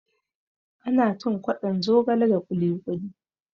Ana cin kwaɗon zogale da kuli kuli